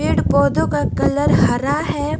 पेड़ पौधों का कलर हरा है।